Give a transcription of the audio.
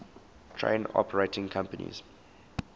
train operating companies